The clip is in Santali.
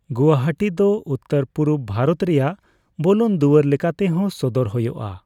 ᱜᱩᱣᱟᱦᱟᱴᱤᱫᱚ ᱩᱛᱛᱚᱨᱼᱯᱩᱨᱩᱵᱽ ᱵᱷᱟᱨᱚᱛ ᱨᱮᱭᱟᱜ ᱵᱚᱞᱚᱱ ᱫᱩᱣᱟᱹᱨ ᱞᱮᱠᱟᱛᱮᱦᱚᱸ ᱥᱚᱫᱚᱨ ᱦᱳᱭᱳᱜᱼᱟ ᱾